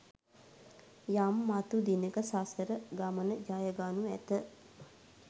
යම් මතු දිනෙක සසර ගමන ජයගනු ඇත